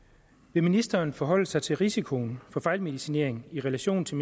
vil ministeren forholde sig til risikoen for fejlmedicinering i relation til